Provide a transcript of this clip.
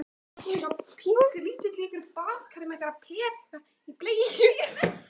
Og síðan var ein reynd, mjög reynd.